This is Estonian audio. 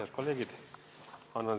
Head kolleegid!